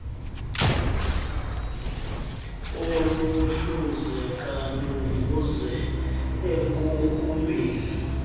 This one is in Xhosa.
oluhluzeka luvuze enkunkumeni